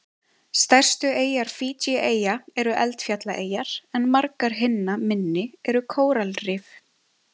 Stærstu eyjar Fídjieyja eru eldfjallaeyjar en margar hinna minni eru kóralrif.